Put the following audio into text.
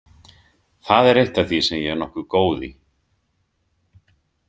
Það er eitt af því sem ég er nokkuð góð í.